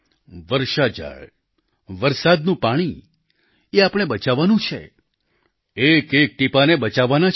વર્ષા જળ વરસાદનું પાણી એ આપણે બચાવવાનું છે એક એક ટીપાંને બચાવવાના છે